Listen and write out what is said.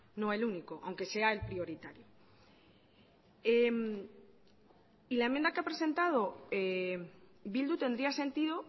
no el único aunque sea el prioritario y la enmienda que ha presentado bildu tendría sentido